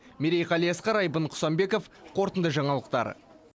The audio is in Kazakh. мерей қалиасқар айбын құсанбеков қорытынды жаңалықтар